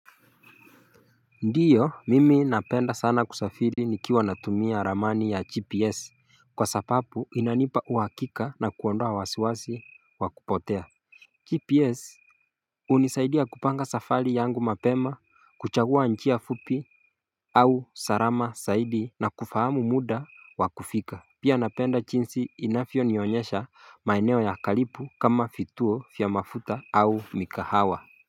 Ndiyo mimi napenda sana kusafiri nikiwa natumia ramani ya gps kwa sababu inanipa uhakika na kuondoa wasiwasi wa kupotea GPS hunisaidia kupanga safari yangu mapema, kuchagua njia fupi au salama zaidi na kufahamu muda wa kufika. Pia napenda jinsi inavyonionyesha maeneo ya karibu kama vituo vya mafuta au mikahawa.